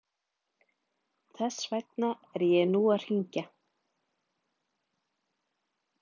Þess vegna er ég nú að hringja.